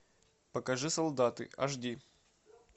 покажи солдаты аш ди